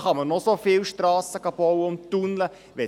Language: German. Da kann man noch so viele Strassen und Tunnel bauen: